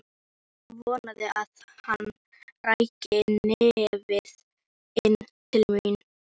Vonaði að hann ræki nefið inn til mín.